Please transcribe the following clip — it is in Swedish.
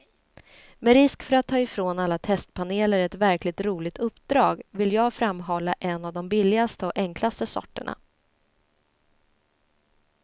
Med risk för att ta ifrån alla testpaneler ett verkligt roligt uppdrag, vill jag framhålla en av de billigaste och enklaste sorterna.